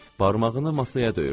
Barmağını masaya döyürdü.